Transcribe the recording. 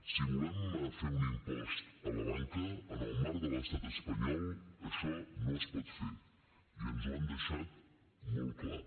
si volem fer un impost a la banca en el marc de l’estat espanyol això no es pot fer i ens ho han deixat molt clar